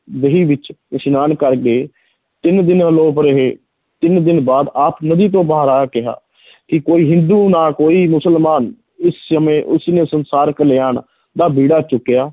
ਬੇਈ ਵਿੱਚ ਇਸਨਾਨ ਕਰਦੇ ਤਿੰਨ ਦਿਨ ਆਲੋਪ ਰਹੇ, ਤਿੰਨ ਦਿਨ ਬਾਅਦ ਆਪ ਨਦੀ ਤੋਂ ਬਾਹਰ ਆ ਕਿਹਾ ਕਿ ਕੋਈ ਹਿੰਦੂ ਨਾ ਕੋਈ ਮੁਸਲਮਾਨ ਇਸ ਸਮੇਂ ਉਸਨੇ ਸੰਸਾਰ ਕਲਿਆਣ ਦਾ ਬੇੜਾ ਚੁੱਕਿਆ